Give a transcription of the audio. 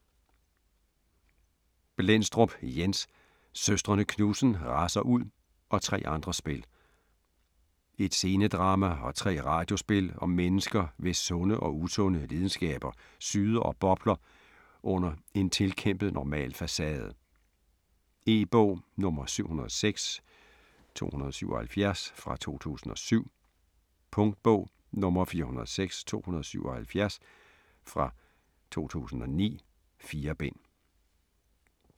Blendstrup, Jens: Søstrene Knudsen raser ud og tre andre spil Et scenedrama og tre radiospil om mennesker, hvis sunde og usunde lidenskaber syder og bobler under en tilkæmpet normal facade. E-bog 706277 2007. Punktbog 406277 2009. 4 bind.